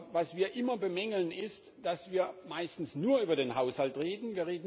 Was wir aber immer bemängeln, ist, dass wir meistens nur über den Haushalt reden.